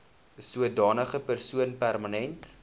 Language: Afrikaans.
sodanige persoon permanent